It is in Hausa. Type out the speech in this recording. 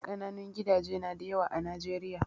Kananun gidaje nada yawa a Najeriya